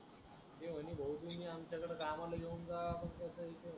ओ तुम्ही आमच्याकडं गावाला येऊन जा